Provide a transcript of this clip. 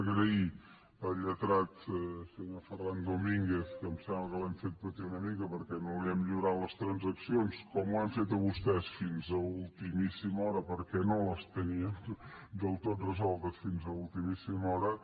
donar les gràcies al lletrat senyor ferran domínguez que em sembla que l’hem fet patir una mica perquè no li hem lliurat les transaccions com ho hem fet amb vostès fins a ultimíssima hora perquè no les teníem del tot resoltes fins a ultimíssima hora